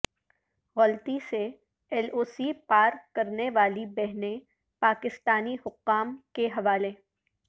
غلطی سے L O C پار کرنے والی بہنیں پاکستانی حکام کے حوالے